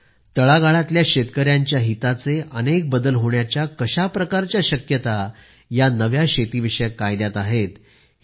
यामुळे आपल्याला कळते आहे की तळागाळातील शेतकऱ्यांच्या हिताचे अनेक बदल होण्याच्या कशा प्रकारच्या शक्यता या नव्या शेतीविषयक कायद्यात आहेत